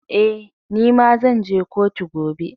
Eh, ni ma zan je kotu gobe.